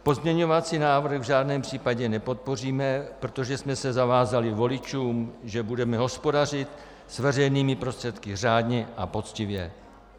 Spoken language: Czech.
Pozměňovací návrh v žádném případě nepodpoříme, protože jsme se zavázali voličům, že budeme hospodařit s veřejnými prostředky řádně a poctivě.